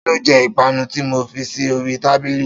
Ta ló je ìpanu tí mo fi sí oríi tábìlì